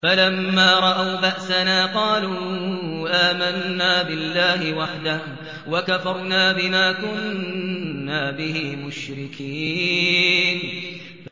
فَلَمَّا رَأَوْا بَأْسَنَا قَالُوا آمَنَّا بِاللَّهِ وَحْدَهُ وَكَفَرْنَا بِمَا كُنَّا بِهِ مُشْرِكِينَ